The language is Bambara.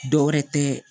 Dɔ wɛrɛ tɛ